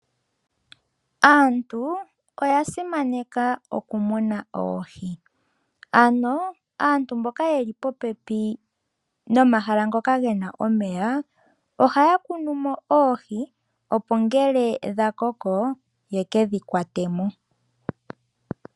Aantu oya simaneka oku muna oohi. Ano aantu mboka yeli popepi nomahala ngoka gena omeya ohaya kunu mo oohi opo ngele dha koko yekedhi kwatemo.